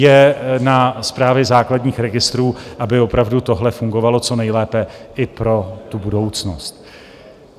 Je na Správě základních registrů, aby opravdu tohle fungovalo co nejlépe i pro tu budoucnost.